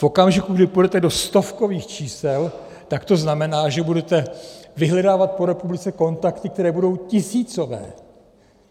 V okamžiku, kdy půjdete do stovkových čísel, tak to znamená, že budete vyhledávat po republice kontakty, které budou tisícové.